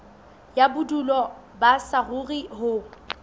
ya bodulo ba saruri ho